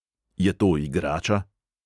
Je to igrača?